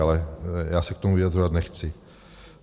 Ale já se k tomu vyjadřovat nechci.